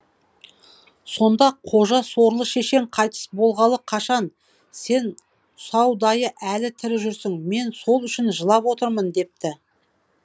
сонда қожа сорлы шешең қайтыс болғалы қашан сен саудайы әлі тірі жүрсің мен сол үшін жылап отырмын депті